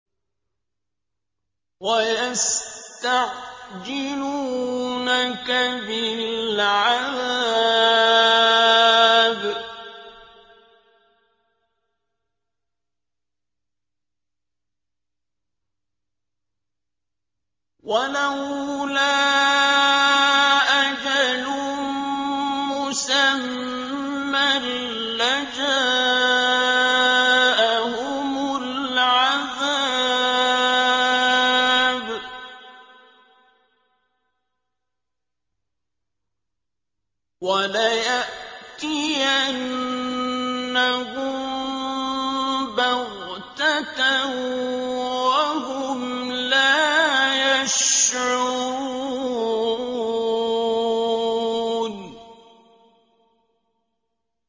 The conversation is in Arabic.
وَيَسْتَعْجِلُونَكَ بِالْعَذَابِ ۚ وَلَوْلَا أَجَلٌ مُّسَمًّى لَّجَاءَهُمُ الْعَذَابُ وَلَيَأْتِيَنَّهُم بَغْتَةً وَهُمْ لَا يَشْعُرُونَ